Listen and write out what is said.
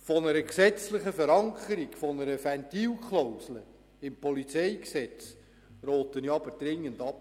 Von einer gesetzlichen Verankerung, von einer Ventilklausel im PolG rate ich aber dringend ab.